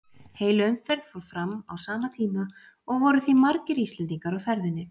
Heil umferð fór fram á sama tíma og voru því margir Íslendingar á ferðinni.